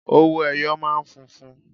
Owó ẹyọ máa ń funfun.